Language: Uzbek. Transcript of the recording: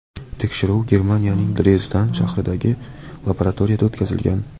Tekshiruv Germaniyaning Drezden shahridagi laboratoriyada o‘tkazilgan.